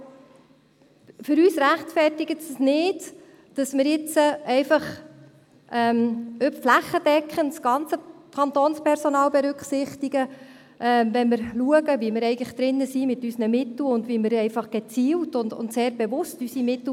Aber für uns rechtfertigt es sich nicht, dass wir jetzt einfach flächendeckend das ganze Kantonspersonal berücksichtigen, wenn wir schauen, wie wir eigentlich mit unseren Mitteln drin sind und wie unsere Mittel einfach gezielt und sehr bewusst einsetzen müssen.